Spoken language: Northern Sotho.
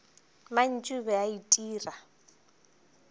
mantši o be a itira